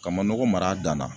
Ka manɔgɔ mar'a dan na